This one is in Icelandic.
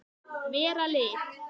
Vera lið.